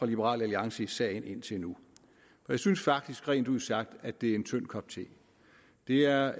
liberal alliance i sagen indtil nu jeg synes faktisk rent ud sagt at det er en tynd kop te det er